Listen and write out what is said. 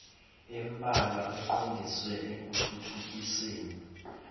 embalwa eqondiswe ekuthuthukiseni